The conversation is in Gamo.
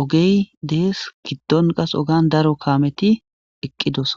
ogey des gidon qase ogan daro kameti eqidoso.